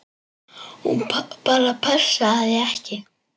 Hún bara passaði ekki.